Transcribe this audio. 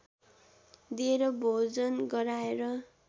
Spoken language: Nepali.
दिएर भोजन गराएर